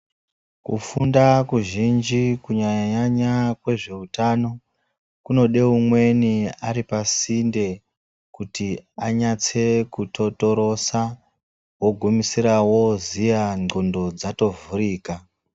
Kufunda kuzhinji kunyanya-nyanya nezveutano kunoda umweni ari pasinde kuti anyatse kutotorosa ogumisira oziya ndxondo dzatovhurika.